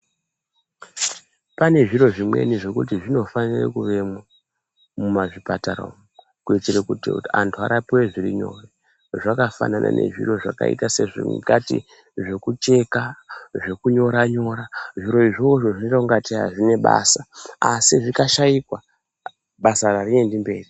Pane zviro zvimwe zvekuti zvinofanire kuvemwo mumazvipatara umwu kuitire kuti antu arapive zvirinyore. Zvakafanana nezviro zvakaita sekuti ungati zvokucheka zvokunyora-nyora zviro izvozvo zvinota kunga tee hazvina basa. Asi zvikashaikwa basa hariendi mberi.